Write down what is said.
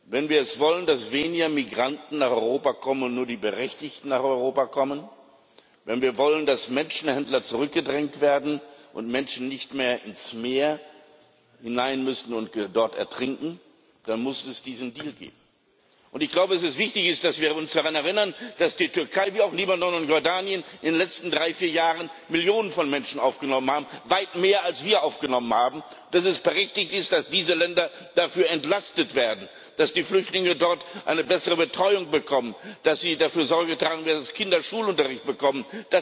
Wenn wir es wollen, dass weniger Migranten nach Europa kommen und nur die Berechtigten nach Europa kommen, wenn wir wollen, dass Menschenhändler zurückgedrängt werden und Menschen nicht mehr ins Meer hinein müssen und dort ertrinken, dann muss es diesen Deal geben. Es ist wichtig, dass wir uns daran erinnern, dass die Türkei wie auch Libanon und Jordanien in den letzten drei, vier Jahren Millionen von Menschen aufgenommen hat weit mehr, als wir aufgenommen haben und dass es berechtigt ist, dass diese Länder dafür entlastet werden, dass die Flüchtlinge dort eine bessere Betreuung bekommen, dass sie dafür Sorge tragen, dass Kinder Schulunterricht bekommen.